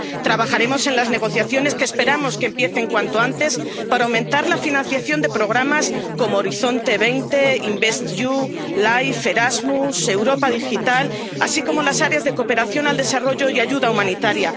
Trabajaremos en las negociaciones, que esperamos que empiecen cuanto antes, para aumentar la financiación de programas como Horizonte 2020, InvestEU, LIFE, Erasmus, Europa digital, así como las áreas de cooperación al desarrollo y ayuda humanitaria.